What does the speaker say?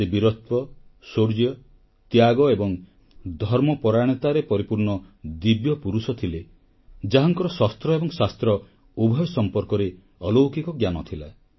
ସେ ବୀରତ୍ୱ ଶୌର୍ଯ୍ୟ ତ୍ୟାଗ ଏବଂ ଧର୍ମପରାୟଣତାରେ ପରିପୂର୍ଣ୍ଣ ଦିବ୍ୟପୁରୁଷ ଥିଲେ ଯାହାଙ୍କର ଶସ୍ତ୍ର ଏବଂ ଶାସ୍ତ୍ର ଉଭୟ ସମ୍ପର୍କରେ ଅଲୌକିକ ଜ୍ଞାନ ଥିଲା